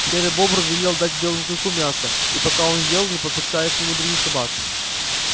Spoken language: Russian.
серый бобр велел дать белому клыку мяса и пока он ел не подпуская к нему других собак